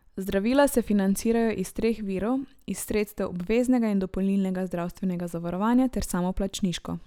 Zdravila se financirajo iz treh virov, iz sredstev obveznega in dopolnilnega zdravstvenega zavarovanja ter samoplačniško.